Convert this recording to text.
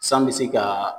San bɛ se ka